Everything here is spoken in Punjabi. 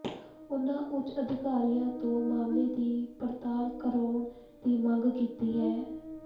ਉਨ੍ਹਾਂ ਉੱਚ ਅਧਿਕਾਰੀਆਂ ਤੋਂ ਮਾਮਲੇ ਦੀ ਪੜਤਾਲ ਕਰਾਉਣ ਦੀ ਮੰਗ ਕੀਤੀ ਹੈ